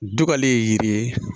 Dugalen ye yiri ye